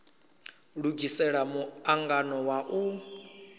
lugisela mu angano wa u